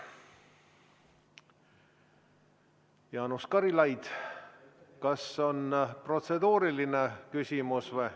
Jaanus Karilaid, kas teil on protseduuriline küsimus?